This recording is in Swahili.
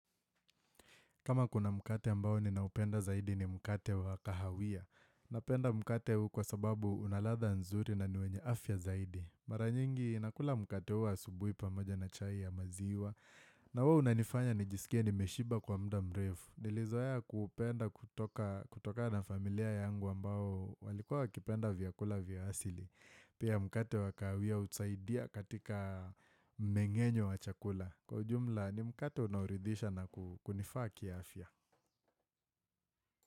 Kama kuna mkate ambao ninaupenda zaidi ni mkate wa kahawia. Napenda mkate huu kwa sababu una ladha nzuri na ni wenye afya zaidi. Mara nyingi nakula mkate huu asubuhi pamoja na chai ya maziwa. Na huwa unanifanya nijisikie nimeshiba kwa muda mrefu. Nilizoea kuupenda kutokana na familia yangu ambao walikua wakipenda vyakula vya asili. Pia mkate wa kahawia husaidia katika mmeng'enyo wa chakula. Kwa ujumla ni mkate unaoridhisha na kunifaa kiafya.